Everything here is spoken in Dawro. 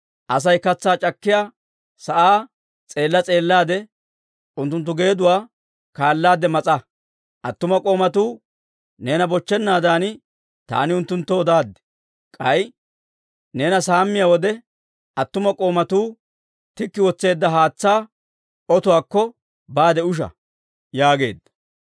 Asay katsaa c'akkiyaa sa'aa s'eella s'eellaade, unttunttu geeduwaa kaallaade mas'a. Attuma k'oomatuu neena bochchennaadan taani unttunttoo odaaddi. K'ay neena saammiyaa wode, attuma k'oomatuu tikki wotseedda haatsaa otuwaakko baade usha» yaageedda.